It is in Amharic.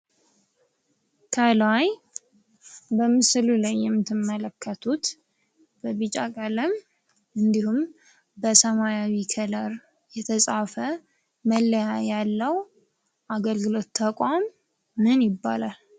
ከላይ በምስሎ ላይ የምትመለከቱት በቢጫ ቀለም እንዲሁም በሰማያዊ ክለር የተፃፈ መለያ ያለው አገልግሎት ተቋም ምን ይባላል?